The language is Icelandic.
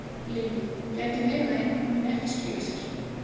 Lillý: Gæti verið að einhver muni ekki skila sér?